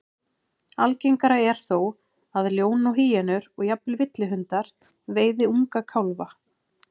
Algengara er þó að ljón og hýenur, og jafnvel villihundar, veiði unga kálfa.